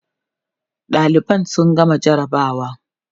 ɗaliban sun gama jarabawa